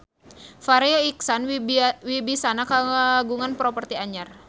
Farri Icksan Wibisana kagungan properti anyar